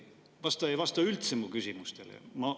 Vastaja ei vasta üldse mu küsimustele.